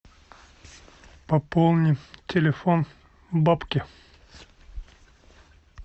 пополни телефон бабки